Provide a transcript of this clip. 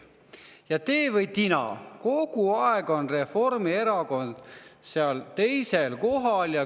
Ja tee või tina, kogu aeg on Reformierakond teisel kohal.